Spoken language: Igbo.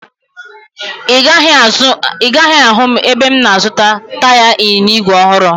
Ị gaghị ahụ m ebe m na-azụta taya ịnyịnya igwe ọhụrụ